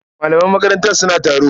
Malaman makaranta suna taro.